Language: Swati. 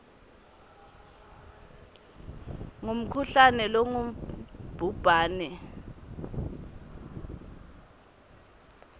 ngumkhuhlane longubhubhane a